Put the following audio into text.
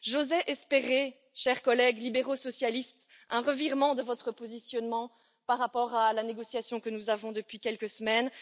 J'osais espérer, chers collègues libéraux socialistes, un revirement de votre part par rapport à la négociation que nous avons depuis quelques semaines.